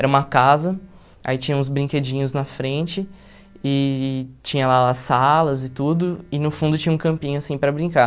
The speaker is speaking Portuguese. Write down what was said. Era uma casa, aí tinha uns brinquedinhos na frente, e tinha lá salas e tudo, e no fundo tinha um campinho, assim, para brincar.